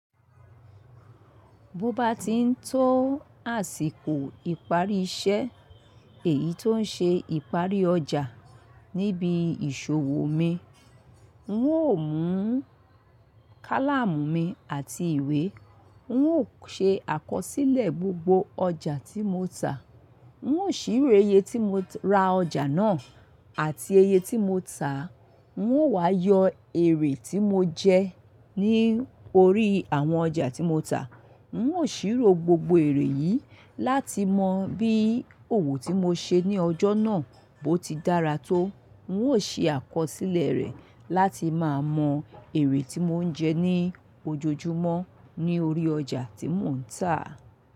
Bó bá ti ń tó àsìkò ìparí iṣẹ́ èyí tó ń ṣe ìparí ọjà níbi ìṣòwò mi, ń ó mú kálámù mi àti ìwé, ń ó ṣe àkọsílẹ̀ gbogbo ọjà tí mo tà. Ń ó sì ro iye tí mo ra ọjà náà àti iye tí mo tà, ń ó wá yọ èrè tí mo jẹ ní orí àwọn ọjà tí mo tà. Ń ó sì ro gbogbo èrè yìí láti mọ bí òwò tí mo ṣe ní ọjọ́ náà bó ti dára tó. Ń ó se àkọsílẹ̀ rẹ̀ láti máa mọ èrè tí mo ń jẹ ní ojoojúmọ́ ní orí ọjà tí mò ń tà.